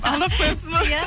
алдап қоясыз ба иә